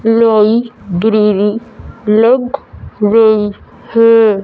लग रही हैं।